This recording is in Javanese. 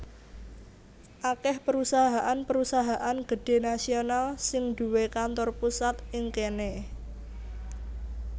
Akèh perusahaan perusahaan gedhé nasional sing duwé kantor pusat ing kéné